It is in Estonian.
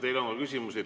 Teile on küsimusi.